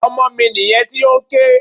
Ọmọ mi nìyẹn tí ó ń ké.